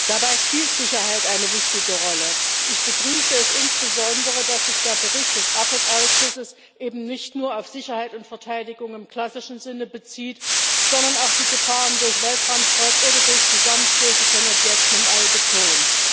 Dabei spielt Sicherheit eine wichtige Rolle. Ich begrüße es insbesondere, dass sich der Bericht des AFET Ausschusses eben nicht nur auf Sicherheit und Verteidigung im klassischen Sinne bezieht, sondern auch die Gefahren durch Weltraumschrott oder durch Zusammenstöße von Objekten im All betont.